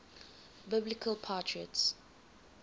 biblical patriarchs